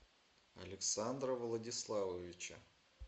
александра владиславовича